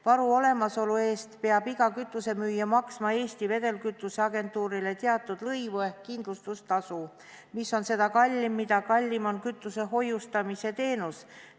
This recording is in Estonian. Varu olemasolu eest peab iga kütusemüüja maksma Eesti Vedelkütusevaru Agentuurile teatud lõivu ehk kindlustustasu, mis on seda kallim, mida kallim on kütuse hoiustamise teenus.